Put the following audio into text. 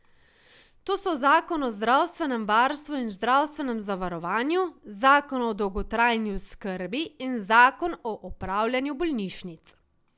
To so zakon o zdravstvenem varstvu in zdravstvenem zavarovanju, zakon o dolgotrajni oskrbi in zakon o upravljanju bolnišnic.